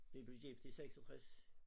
Vi blev gift i 66